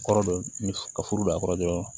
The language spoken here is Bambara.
Kɔrɔ dɔ mi ka furu don a kɔrɔ dɔrɔn